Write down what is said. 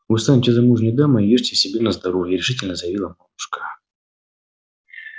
вот станете замужней дамой и ешьте себе на здоровье решительно заявила мамушка